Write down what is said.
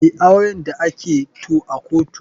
Me auren da ake to a kotu?